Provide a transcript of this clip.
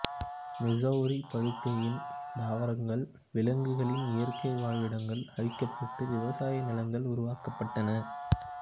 Missouri படுகையின் தாவரங்கள் விலங்குகளின் இயற்கை வாழிடங்கள் அழிக்கப்பட்டு விவசாய நிலங்கள் உருவாக்கப்பட்டன